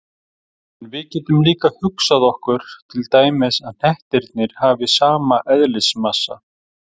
En við getum líka hugsað okkur til dæmis að hnettirnir hafi sama eðlismassa.